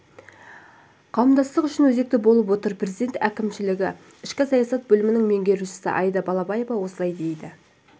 қауымдастық үшін өзекті болып отыр президент әкімшілігі ішкі саясат бөлімінің меңгерушісі аида балаева осылай дейді